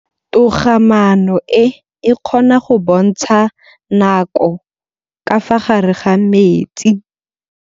Toga-maanô e, e kgona go bontsha nakô ka fa gare ga metsi.